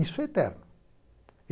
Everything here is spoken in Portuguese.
Isso é eterno.